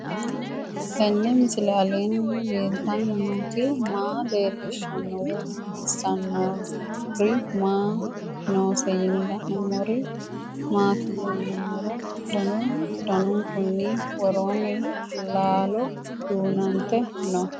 Tenni misile aleenni leelittanni nootti maa leelishshanno woy xawisannori may noosse yinne la'neemmori maattiya yinummoro danu danunkunni woroonni laallo duunante noo